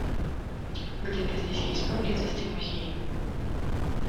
где то здесь есть поблизости музей